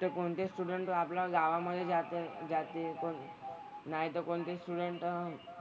तर कोणते स्टुडंट जो आपला गावामधे जाते जाते कोण नाही तर कोणते स्टुडंट